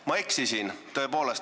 Ma eksisin.